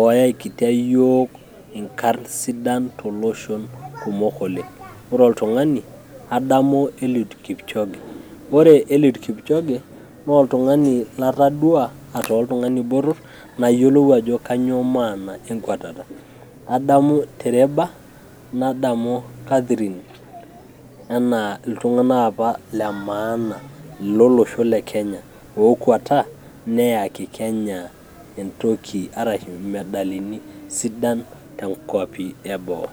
ooyakita iyiiok inkarn sidan toloshon kumok oleng ore oltung'ani adamu eliud kipchoge ore eliud kipchoge naa oltung'ani latoduaa ataa oltung'ani botor nayiolou ajo kanyioo maana enkwatata adamu tereba nadamu Catherine enaa iltung'anak apa lemaana lolosho lekenya ookwata neyaki Kenya entoki araki imedalini sidan toonkuapi eboo.